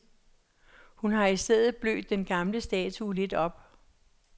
Hun har i stedet blødt den gamle statue lidt op.